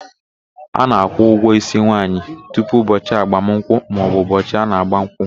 A na-akwụ ụgwọ ísí nwaanyị tupu ụbọchị agbamụnkwụ maọbụ ụbọchị a na ágbà nkwụ.